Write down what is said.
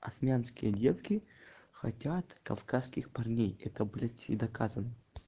армянские детки хотят кавказских парней это блять и доказано